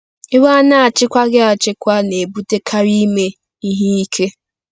Iwe a na-achịkwaghị achịkwa na-ebutekarị ime ihe ike.